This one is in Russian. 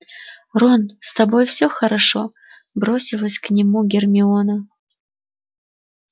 рон с тобой все хорошо бросилась к нему гермиона